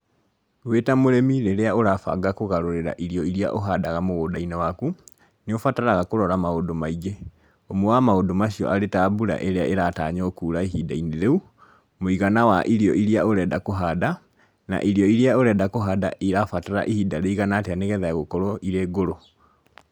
Wĩ ta mũrĩmi rĩrĩa ũrabanga kũgarũrĩra irio iria ũhandaga mũgũnda-inĩ waku, nĩ ũbataraga kũrora maũndũ maingĩ, ũmwe wa maũndũ macio arĩ ta mbura ĩrĩa ĩratanywo kuura ihinda-inĩ rĩu, mũigana wa irio iria ũrenda kũhanda, na irio iria ũrenda kũhanda irabatara ihinda rĩigana atĩa nĩ getha gũkorũo irĩ ngũrũ.